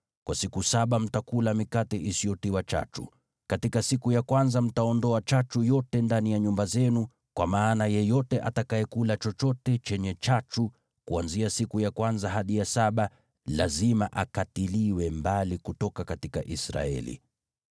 Kwa siku saba mtakula mikate isiyotiwa chachu. Katika siku ya kwanza mtaondoa chachu yote ndani ya nyumba zenu, kwa maana yeyote atakayekula chochote chenye chachu kuanzia siku ya kwanza hadi ya saba lazima akatiliwe mbali kutoka Israeli.